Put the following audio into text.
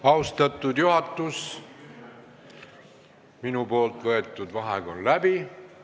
Austatud Riigikogu, minu võetud vaheaeg on läbi.